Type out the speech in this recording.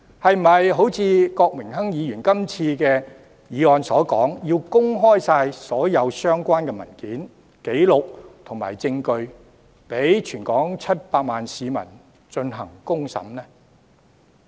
是否要如郭榮鏗議員這次提出的議案所說，要公開所有相關文件、紀錄和證據，讓全港700萬市民公審呢？